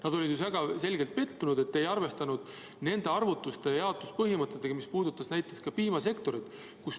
Nad olid ju väga selgelt pettunud, et te ei arvestanud nende arvutusi ja jaotuspõhimõtteid, mis puudutasid näiteks ka piimasektorit.